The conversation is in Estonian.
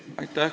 Aitäh!